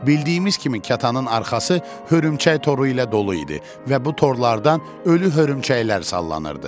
Bildiyimiz kimi kətanın arxası hörümçək toru ilə dolu idi və bu torlardan ölü hörümçəklər sallanırdı.